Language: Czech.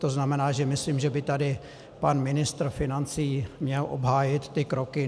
To znamená, že myslím, že by tady pan ministr financí měl obhájit ty kroky.